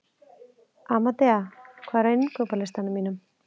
Amadea, hvað er á innkaupalistanum mínum?